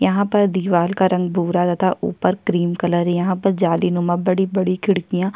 यहाँ पर दिवार का रंग भूरा तथा ऊपर क्रीम कलर यहाँ पर जालिनुमा बड़ी-बड़ी खिड़किया--